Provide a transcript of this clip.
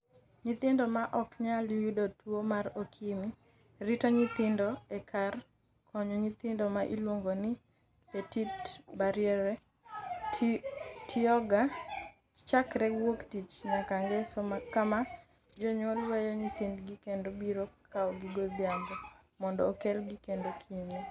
Nyithindo ma ok nyal yudo tuwo mar okimi Rito nyithindo e kar konyo nyithindo ma iluongo ni ‘Petite Bariere’ tiyoga chakre wuok tich nyaka ngeso kama jonyuol weyo nyithindgi kendo biro kawogi godhiambo, mondo okelgi kendo kinyne